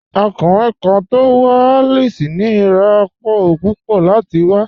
Ọ̀kùnriǹ kan tó wà Alice ní iràpọ̀ púpọ̀ láti wà.